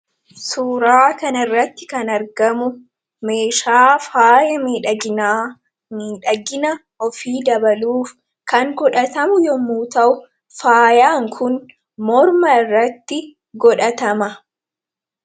Suuraa kanarratti kan argamu meeshaa faaya miidhaginaa miidhagina ofii dabaluuf kan godhatamu yoo ta’u, faayaan kun morma irratti godhatama.